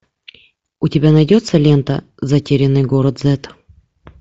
у тебя найдется лента затерянный город зэд